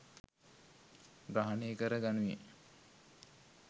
ග්‍රහණය කර ගනුයේ